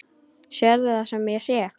Sérðu það sem ég sé?